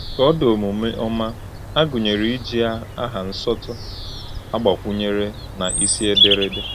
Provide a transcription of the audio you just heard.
“Koodu omume ọma” a gụnyere iji aha nsọtụ agbakwunyere na isi ederede.